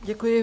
Děkuji.